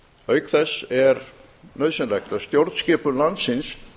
auk þess er nauðsynlegt að stjórnskipun landsins